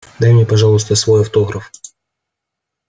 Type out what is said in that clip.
дай мне пожалуйста свой автограф